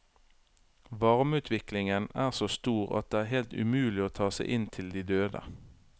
Varmeutviklingen er så stor at det er helt umulig å ta seg inn til de døde.